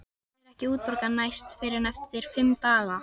Hann fær ekki útborgað næst fyrr en eftir fimm daga.